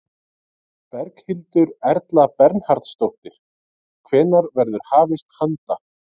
Berghildur Erla Bernharðsdóttir: Hvenær verður hafist handa?